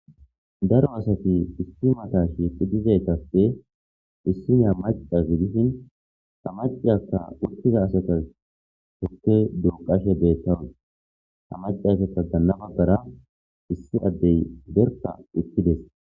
daro asati istimata shiqidizaytappe issi naya macazi dishin samaciyakka wuttiza asata hukkey duuqashe deettawun hamacaze ta ganna baggara issi addey berka ikkides